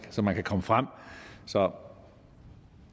så man kan komme frem så